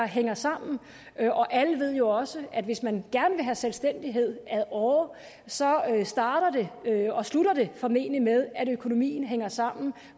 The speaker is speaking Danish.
hænger sammen alle ved jo også at hvis man gerne vil have selvstændighed ad åre så starter og slutter det formentlig med at økonomien hænger sammen